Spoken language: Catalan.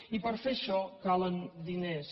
i per fer això calen diners